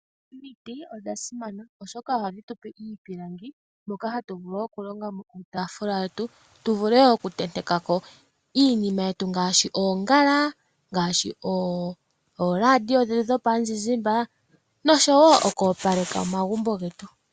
Omiti odha simana oshoka ohadhi tupe iipilangi moka hatu vulu wo okulongamo iitafula yetu tu vule okuntentekako iinima yetu ngaashi oongala, ooradio dhetu dhomizizimbe noshowo okwoopaleka omagumbo getu.